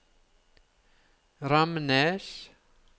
Ramnes